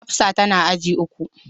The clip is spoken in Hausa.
Hafsat tana agi uku.